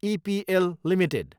EPL Ltd